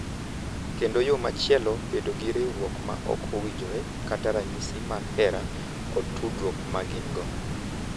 kendo yo machielo bedo gi riwruok ma ok owinjore kaka ranyisi mar hera kod tudruok ma gin-go.